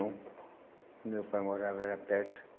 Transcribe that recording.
Onde meu pai morava era perto.